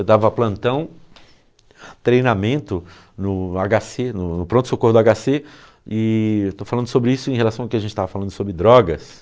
Eu dava plantão, treinamento no agá cê, no pronto-socorro do agá cê e eu estou falando sobre isso em relação ao que a gente estava falando sobre drogas.